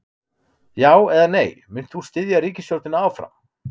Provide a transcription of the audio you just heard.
Já, eða nei, munt þú styðja ríkisstjórnina áfram?